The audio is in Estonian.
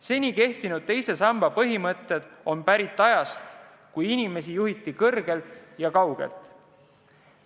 Seni kehtivad teise samba põhimõtted on pärit ajast, kui inimesi juhiti kõrgelt ja kaugelt.